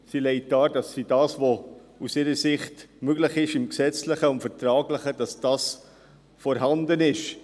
Sie legt dar, dass das, was aus ihrer Sicht gesetzlich und vertraglich möglich ist, vorhanden ist.